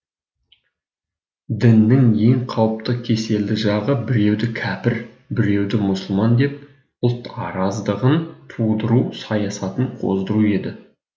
діннің ең қауіпті кеселді жағы біреуді кәпір біреуді мұсылман деп ұлт араздығын тудыру саясатын қоздыру еді